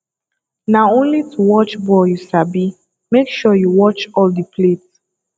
na only to watch ball you sabi make sure you watch all the plate